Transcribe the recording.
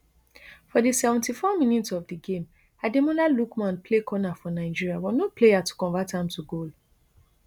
for di seventy-fourminutes of di game ademola lookmanplay corner for nigeria but no player to convert am to goal